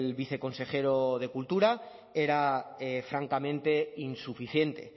viceconsejero de cultura era francamente insuficiente